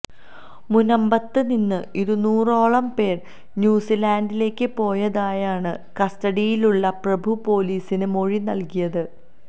മുനമ്പത്ത് നിന്ന് ഇരുനൂറോളം പേര് ന്യൂസിലാന്റിലേക്ക് പോയതായാണ് കസ്റ്റഡിയിലുള്ള പ്രഭു പൊലീസിന് മൊഴി നല്കിയത്